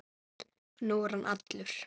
Nú er hann allur.